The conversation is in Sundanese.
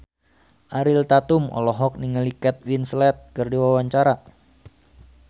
Ariel Tatum olohok ningali Kate Winslet keur diwawancara